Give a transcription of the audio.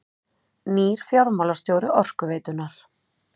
Nýr fjármálastjóri Orkuveitunnar